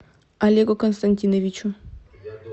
олегу константиновичу